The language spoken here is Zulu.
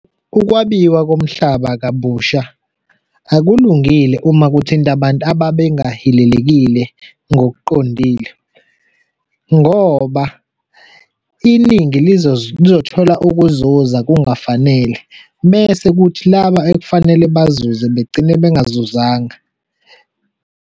Ukwabiwa komhlaba kabusha akulungile uma kuthinta abantu ababengahilelekile ngokuqondile ngoba iningi lizothola ukuzuza kungafanele bese kuthi laba ekufanele bazuze begcine bengazuzanga.